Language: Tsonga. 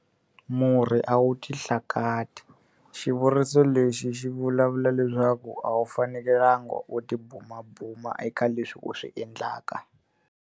Murhi a wu ti hlakati. Xivuriso lexi xi vulavula leswaku a wu fanekelanga u tibumabuma eka leswi u swi endlaka.